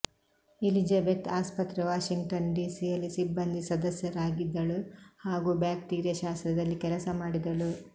Elizabeth ಆಸ್ಪತ್ರೆ Washington ಡಿಸಿಯಲ್ಲಿ ಸಿಬ್ಬಂದಿ ಸದಸ್ಯರಾಗಿದಳು ಹಾಗೂ ಬ್ಯಾಕ್ಟೀರಿಯಶಾಸ್ತ್ರದಲ್ಲಿ ಕೆಲಸಮಾಡಿದಳು